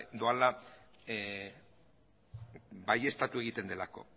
doala baieztatu egiten delako